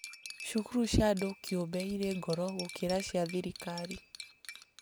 Cukuru cia andũ kĩũmbe irĩ goro gũkĩra cia thirikari